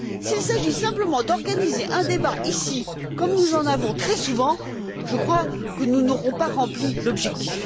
S'il s'agit simplement d'organiser un débat ici, comme nous en avons très souvent, je crois que nous n'aurons pas rempli l'objectif.